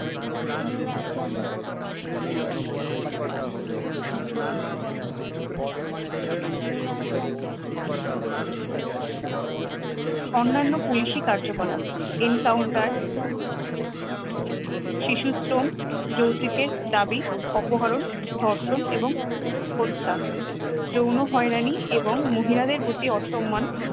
অন্যান্য পুলিশী কার্যকলাপ encounter শিশুশ্রম যৌতুকের দাবি অপহরণ ধর্ষণ এবং হত্যা যৌন হয়রানি এবং মহিলাদের প্রতি অসম্মান